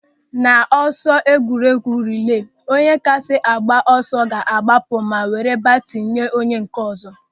N'ọsọ egwuregwu rilee, onye kasị agba ọsọ ga-agbapụ ma were batini nye onye nke ọzọ.